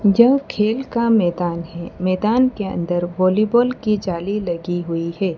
यह खेल का मैदान है मैदान के अंदर वॉलीबॉल की जाली लगी हुई है।